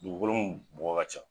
Dugukolo mun bɔgɔ ka ca